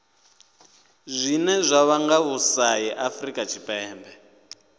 zwine zwa vhanga vhusai afurika tshipembe